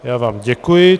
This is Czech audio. Já vám děkuji.